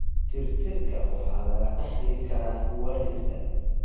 Tirtirka waxaa laga dhaxli karaa waalidka.